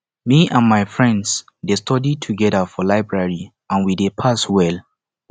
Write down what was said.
me and my friend dey study together for library and we dey pass well